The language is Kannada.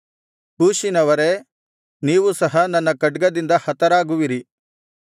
ಕೂಷಿನವರೇ ನೀವು ಸಹ ನನ್ನ ಖಡ್ಗದಿಂದ ಹತರಾಗುವಿರಿ